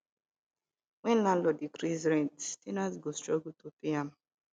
when landlord increase rent ten ant go struggle to pay am